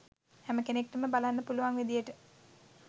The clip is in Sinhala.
හැම කෙනෙක්ට බලන්න පුළුවන් විදියට